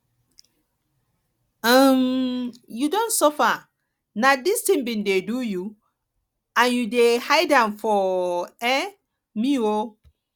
um you don suffer na this thing been dey do you and you dey hide am for um me um